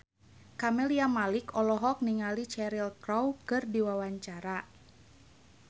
Camelia Malik olohok ningali Cheryl Crow keur diwawancara